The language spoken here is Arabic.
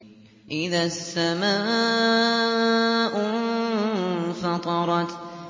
إِذَا السَّمَاءُ انفَطَرَتْ